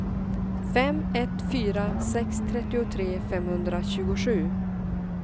fem ett fyra sex trettiotre femhundratjugosju